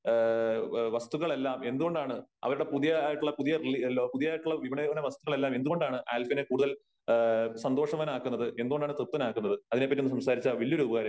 ങേ വസ്തുക്കളെല്ലാം എന്തു കൊണ്ടാണ് അവരുടെ പുതിയതായിട്ടുള്ള പുതിയ പുതിയതായിട്ടുള്ള വിപണന പദ്ധതികൾ എല്ലാം എന്തുകൊണ്ടാണ് ആൽഫിനെ കൂടുതൽ ങേ സന്തോഷവാനാക്കുന്നത് ? എന്തുകൊണ്ടാണ് തൃപ്തനാക്കുന്നത് ? അതിനെ പറ്റി ഒന്ന് സംസാരിച്ചാൽ വലിയ ഒരു ഉപകാരമായിരിക്കും .